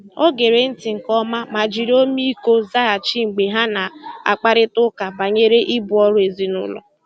O gèrè ntị́ nkè ọ̀ma mà jìrì ọ́mị́íkọ́ zághachì mgbe ha na-àkpárị̀ta ụ́ka bànyèrè ìbù ọ́rụ́ èzìnílọ́.